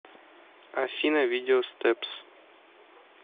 афина видео стэпс